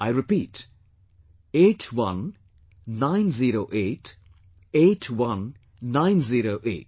I repeat 8190881908